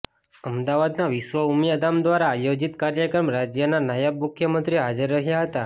અમદાવાદના વિશ્વ ઉમિયા ધામ દ્વારા આયોજીત કાર્યક્રમમાં રાજ્યના નાયબ મુખ્યંમત્રી હાજર રહ્યા હતા